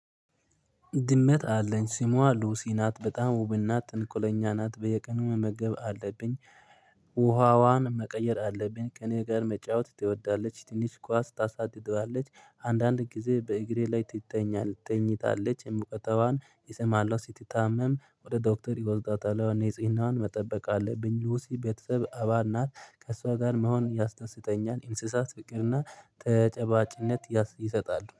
ድመት አለኝ ስሟ ሉሲ ናት በጣም ውብ እና ጥንኮለኛ ናት በየቀኑ መመገብ አለብኝ። ውሃዋን መቀየር አለብኝ። ከእኔ ጋር መጫወት ትወዳለች ትንሽ ኳስ ታሳድደዋለች። አንዳንድ ጊዜ በእግሬ ላይ ትተኛል ተኝታለች እሙቀታዋን እሰማለሁ ሲትታመም ወደ ዶክተር ኢወስዳታለሁ። ኒጽሂናዋን መጠበቅ አለብኝ። ሉሲ ቤተሰብ አባል ናት። ከእሷ ጋር መሆን ያስደስተኛል። እንስሳት ፍቅር እና ተጨባጭነት ያስ ይሰጣሉ